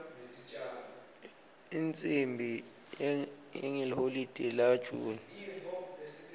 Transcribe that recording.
imicimbi yangeliholide la june